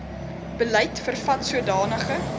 beleid vervat sodanige